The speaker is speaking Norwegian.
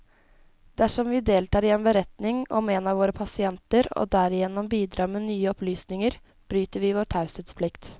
Dersom vi deltar i en beretning om en av våre pasienter, og derigjennom bidrar med nye opplysninger, bryter vi vår taushetsplikt.